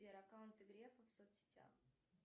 сбер аккаунты грефа в соц сетях